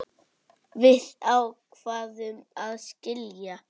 Við ákváðum að skilja.